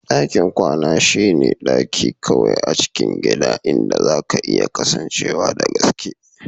Dakin kwana shine kawai daki a cikin gidan inda zaka iya kasancewa da gaske.